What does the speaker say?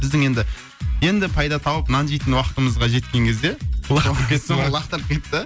біздің енді енді пайда тауып нан жейтін уақытымызға жеткен кезде лақтырып кетті